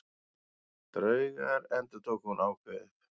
Draugar endurtók hún ákveðið.